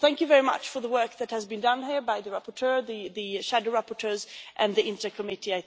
Thank you very much for the work that has been done here by the rapporteur, the shadow rapporteurs and the INTA Committee.